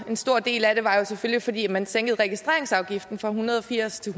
en stor del af det var jo selvfølgelig at man sænkede registreringsafgiften fra en hundrede og firs til